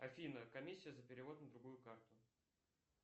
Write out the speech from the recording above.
афина комиссия за перевод на другую карту